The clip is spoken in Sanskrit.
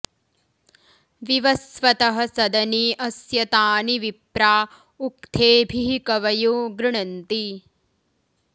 वि॒वस्व॑तः॒ सद॑ने अस्य॒ तानि॒ विप्रा॑ उ॒क्थेभिः॑ क॒वयो॑ गृणन्ति